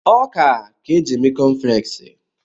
Ọka ka e ji eme kọnflẹksi.